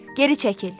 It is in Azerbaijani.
Geri çəkil!